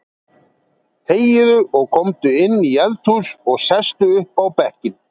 Þegiðu og komdu inn í eldhús og sestu upp á bekkinn.